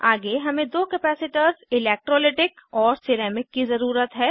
आगे हमें दो कपैसिटर्स इलैक्ट्रोलिटिक और सिरेमिक की ज़रुरत है